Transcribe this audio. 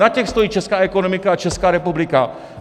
Na těch stojí česká ekonomika a Česká republika!